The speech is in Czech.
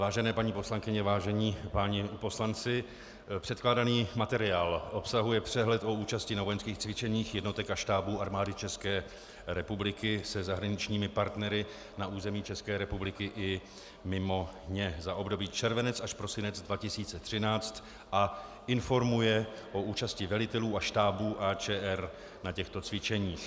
Vážené paní poslankyně, vážení páni poslanci, předkládaný materiál obsahuje přehled o účasti na vojenských cvičeních jednotek a štábů Armády České republiky se zahraničními partnery na území České republiky i mimo ně za období červenec až prosinec 2013 a informuje o účasti velitelů a štábů AČR na těchto cvičeních.